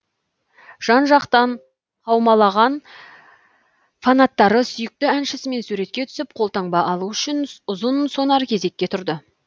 жан жақтан қаумалаған фанаттары сүйікті әншісімен суретке түсіп қолтаңба алу үшін ұзын сонар кезекке тұрды